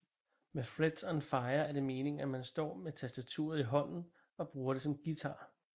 Med Frets on Fire er det meningen at man står med tastaturet i hånden og bruger det som en guitar